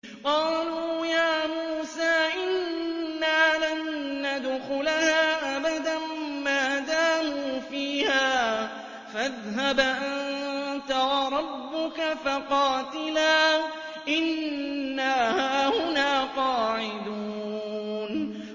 قَالُوا يَا مُوسَىٰ إِنَّا لَن نَّدْخُلَهَا أَبَدًا مَّا دَامُوا فِيهَا ۖ فَاذْهَبْ أَنتَ وَرَبُّكَ فَقَاتِلَا إِنَّا هَاهُنَا قَاعِدُونَ